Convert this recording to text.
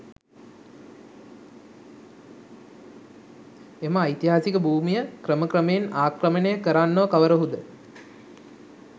මෙම ඓතිහාසික භූමිය ක්‍රම ක්‍රමයෙන් ආක්‍රමණය කරන්නෝ කවරහුද?